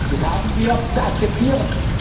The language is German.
Das haben wir zu akzeptieren.